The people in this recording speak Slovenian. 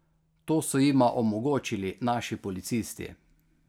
To so jima omogočili naši policisti.